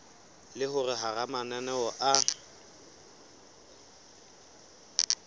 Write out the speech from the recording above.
le hore hara mananeo a